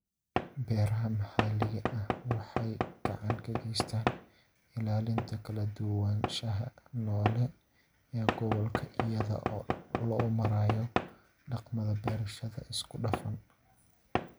Beeraha maxalliga ahi waxay gacan ka geystaan ??ilaalinta kala duwanaanshaha noole ee gobolka iyada oo loo marayo dhaqamada beerashada isku dhafan.